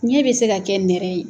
ɲɛ bɛ se ka kɛ nɛrɛ ye.